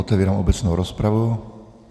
Otevírám obecnou rozpravu.